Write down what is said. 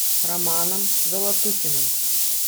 романом золотухиным